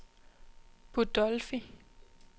Budolfi